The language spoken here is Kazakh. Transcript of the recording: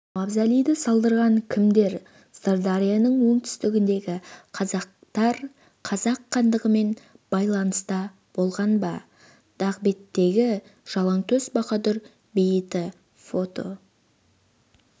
мавзолейді салдырған кімдер сырдарияның оңтүстігіндегі қазақтар қазақ хандығымен байланыста болған ба дағбеттегі жалаңтөс баһадүр бейіті фото